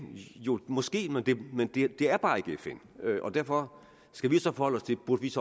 måske men det er bare ikke fn og derfor skal vi så forholde